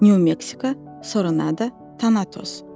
Nyu Meksika, Soronada, Tanatos.